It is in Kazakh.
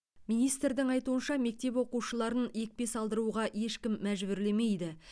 министрдің айтуынша мектеп оқушыларын екпе салдыруға ешкім мәжбүрлемейді